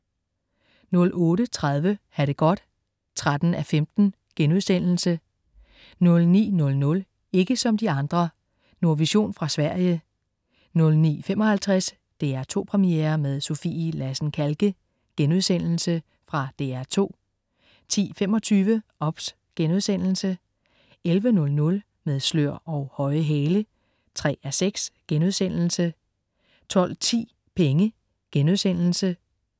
08.30 Ha' det godt 13:15* 09.00 Ikke som de andre. Nordvision fra Sverige 09.55 DR2 Premiere med Sofie Lassen-Kahlke.* Fra DR2 10.25 OBS* 11.00 Med slør og høje hæle 3:6* 12.10 Penge*